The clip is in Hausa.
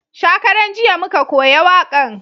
Shakaran jiya muka koya wakan